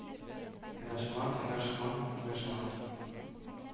engasjement engasjement engasjement